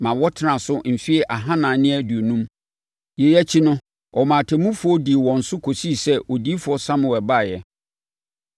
maa wɔtenaa so mfeɛ ahanan ne aduonum. Yei akyi no, ɔmaa atemmufoɔ dii wɔn so kɔsii sɛ Odiyifoɔ Samuel baeɛ.